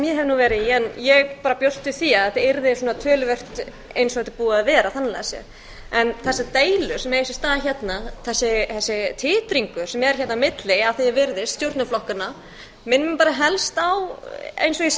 ég hef verið í en ég bjóst við því að þetta yrði töluvert eins og þetta er búið að vera þannig lagað séð en þessar deilur sem eiga sér stað hérna þessi titringur sem er hérna á milli að því er virðist stjórnarflokkanna minnir mig helst á eins og